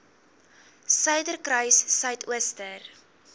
suiderkruissuidooster